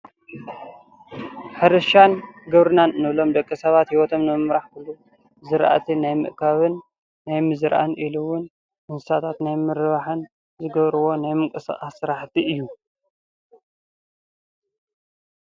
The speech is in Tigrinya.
ሕርሻን ግብርናን ንብሎም ደቂ ሰባት ሂወቶም ንምምራሕ ክብሉ ዝራእቲ ናይ ምእካብን ናይ ምዝራእን ኢሉ እዉን እንስሳታት ናይ ምርባሕን ዝገብሩዎ ናይ ምንቅስቃስ ስራሕቲ እዩ፡፡